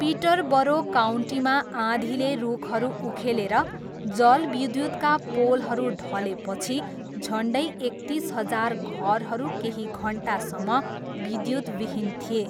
Peterborough काउन्टीमा आँधीले रुखहरू उखेलेर जलविद्युतका पोलहरू ढलेपछि झन्डै एकतिस हजार घरहरू केही घन्टासम्म विद्युतविहीन थिए।